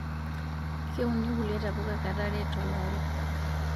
Keuni kulie tapuka kata are tolari